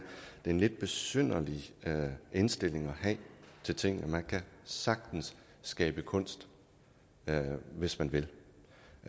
en lidt besynderlig indstilling at have til tingene man kan sagtens skabe kunst hvis man vil